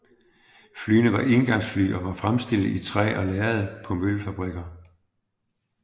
Flyene var éngangsfly og var fremstillet i træ og lærred på møbelfabrikker